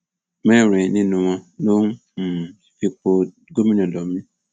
mẹrin nínú wọn ló ń um fipò gómìnà lọ mí